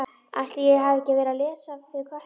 Ætli ég hafi ekki verið að lesa fyrir Kötu.